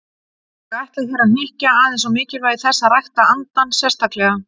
Ég ætla hér að hnykkja aðeins á mikilvægi þess að rækta andann sérstaklega.